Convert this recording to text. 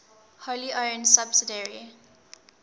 wholly owned subsidiary